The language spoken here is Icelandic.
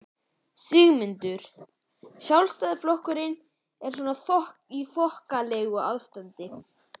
Sigmundur: Sjálfstæðisflokkurinn er svona í þokkalegu ástandi?